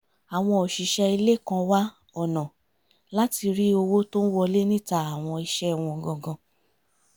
àwọn òṣìṣẹ́ ilé kan wá ọ̀nà láti rí owó tó ń wọlé níta àwọn iṣẹ́ wọn gangan